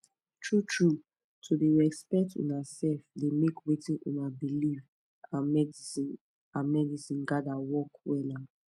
true trueto dey respect una sef dey make wetin una believe and medicine and medicine gather work wella